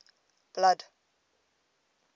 blood